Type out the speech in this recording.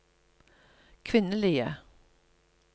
kvinnelige